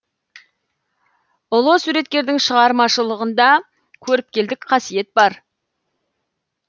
ұлы суреткердің шығармашылығында көріпкелдік қасиет бар